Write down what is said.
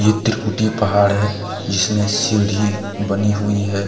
इत्र कुटी पहाड़ है इसमें सीढ़ी बनी हुई है।